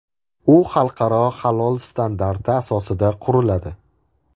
U xalqaro halol standarti asosida quriladi.